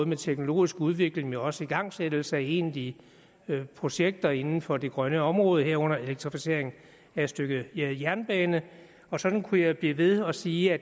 med teknologisk udvikling men også igangsættelse af egentlige projekter inden for det grønne område herunder elektrificering af et stykke jernbane og sådan kunne jeg blive ved med at sige at